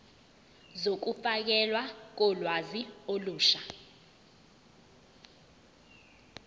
zokufakelwa kolwazi olusha